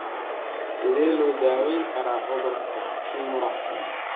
Sidee loo daweyn karaa cudurka Kimura?